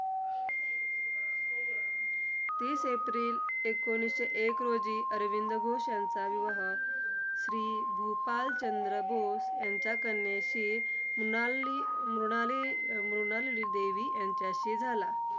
तीस एप्रिल एकोणीसशे एक रोजी अरविंद घोष यांचा विवाह, श्री मूपालचंद्र घोष यांच्या कन्येशी मुनाली मृणाली अं मृणालीदेवी यांच्याशी झाला.